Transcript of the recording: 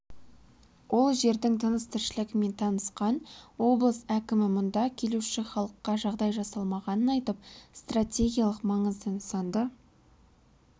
ол жердің тыныс-тіршілігімен танысқан облыс әкімі мұнда келуші халыққа жағдай жасалмағанын айтып стратегиялық маңызды нысанды